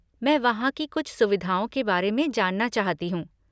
मैं वहाँ की कुछ सुविधाओं के बारे में जानना चाहती हूँ।